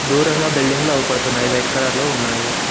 దూరంగా బిల్డింగ్ లో అవుపడుతున్నాయి వైట్ కలర్ లో ఉన్నాయి.